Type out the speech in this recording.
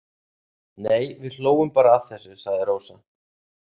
Nei við hlógum bara að þessu, sagði Rósa.